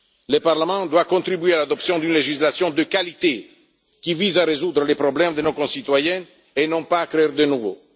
Le Parlement doit contribuer à l'adoption d'une législation de qualité qui vise à résoudre les problèmes de nos concitoyens et non pas à en créer de nouveaux.